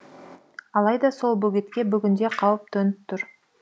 алайда сол бөгетке бүгінде қауіп төніп тұр